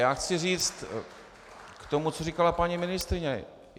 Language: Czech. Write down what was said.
Já chci říct k tomu, co říkala paní ministryně.